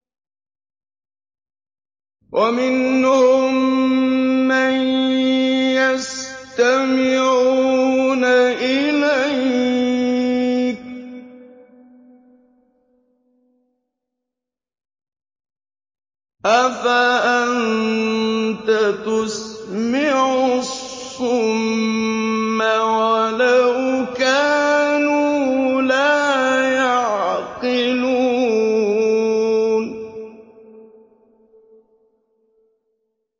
وَمِنْهُم مَّن يَسْتَمِعُونَ إِلَيْكَ ۚ أَفَأَنتَ تُسْمِعُ الصُّمَّ وَلَوْ كَانُوا لَا يَعْقِلُونَ